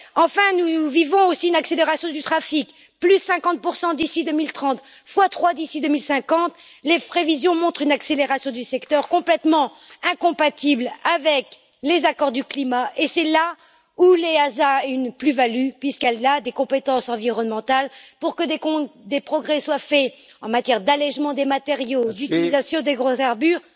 Enfin, nous vivons aussi une accélération du trafic 50 d'ici 2030, x 3 d'ici 2050, les prévisions montrent une accélération du secteur complètement incompatible avec les accords sur le climat et c'est là où l'EASA a une plus value, puisqu'elle a des compétences environnementales, pour que des progrès soient faits en matière d'allègement des matériaux, d'utilisation d'hydrocarbures